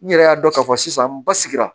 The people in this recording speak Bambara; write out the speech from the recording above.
N yɛrɛ y'a dɔn k'a fɔ sisan n ba sigira